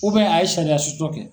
a ye sariya sɔsɔ kɛ.